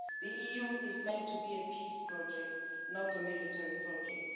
The EU is meant to be a peace project, not a military project.